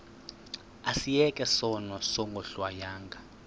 asiyeke sono smgohlwaywanga